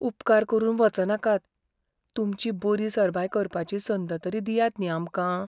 उपकार करून वचनाकात, तुमची बरी सरबाय करपाची संद तरी दियात न्ही आमकां.